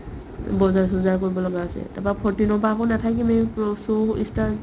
বজাৰ-চজাৰ কৰিব লগা আছে তাৰপৰা fourteen ৰ পৰা আকৌ নাথাকিমে প্ৰ show ই start